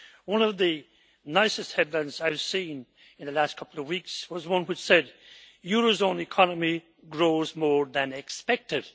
One of the nicest headlines I have seen in the last couple of weeks was one which said Eurozone economy grows more than expected'